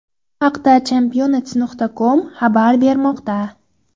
Bu haqda Championat.com xabar bermoqda .